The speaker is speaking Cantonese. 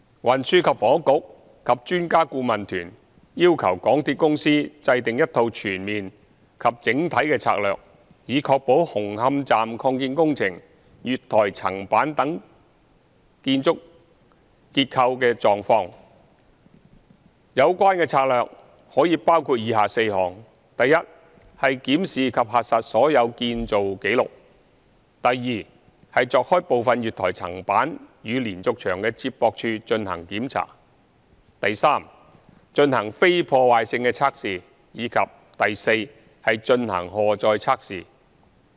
運輸及房屋局及專家顧問團要求港鐵公司制訂一套全面及整體的策略，以確認紅磡站擴建工程月台層板等建築結構的狀況，有關策略可以包括以下4項：一檢視及核實所有建造紀錄；二鑿開部分月台層板與連續牆的接駁處進行檢查；三進行非破壞性測試；及四進行荷載測試。